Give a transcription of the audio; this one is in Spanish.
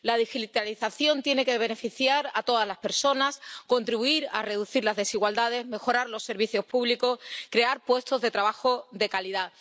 La digitalización tiene que beneficiar a todas las personas, contribuir a reducir las desigualdades, mejorar los servicios públicos y crear puestos de trabajo de calidad.